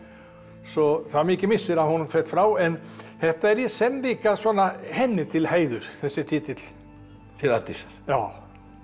svo það er mikill missir að hún féll frá en þetta er í senn líka svona henni til heiðurs þessi titill til Arndísar já